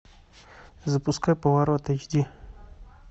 запускай поворот эйч ди